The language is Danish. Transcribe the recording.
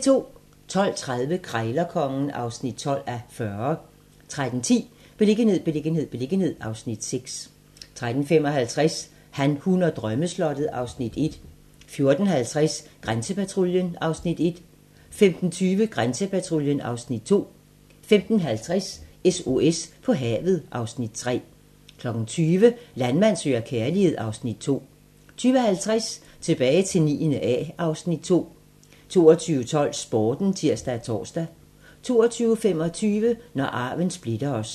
12:30: Krejlerkongen (12:40) 13:10: Beliggenhed, beliggenhed, beliggenhed (Afs. 6) 13:55: Han, hun og drømmeslottet (Afs. 1) 14:50: Grænsepatruljen (Afs. 1) 15:20: Grænsepatruljen (Afs. 2) 15:50: SOS på havet (Afs. 3) 20:00: Landmand søger kærlighed (Afs. 2) 20:50: Tilbage til 9. A (Afs. 2) 22:12: Sporten (tir-tor) 22:25: Når arven splitter os